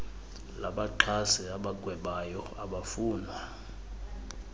labaxhasi abagwebayo abafunwa